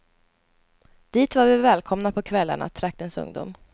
Dit var vi välkomna på kvällarna, traktens ungdom.